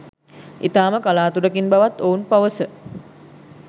ඉතාම කලාතුරකින් බව‍ත් ඔවුන් පවස